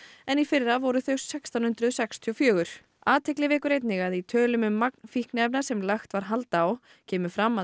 en í fyrra voru þau sextán hundruð sextíu og fjögur athygli vekur einnig að í tölum um magn fíkniefna sem lagt var hald á kemur fram að